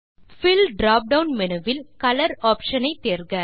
bill drop down menu வில் colour option ஐ தேர்க